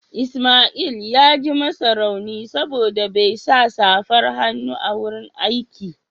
Ismail ya ji masa rauni saboda bai sa safar hannu a wurin aiki